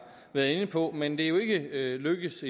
været inde på men endnu ikke lykkedes